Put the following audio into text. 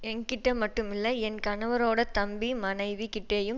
என்கிட்ட மட்டுமல்ல என் கணவரோட தம்பி மனைவி கிட்டேயும்